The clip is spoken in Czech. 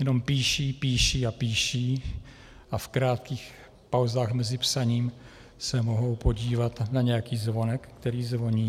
Jenom píší, píší a píší a v krátkých pauzách mezi psaním se mohou podívat na nějaký zvonek, který zvoní.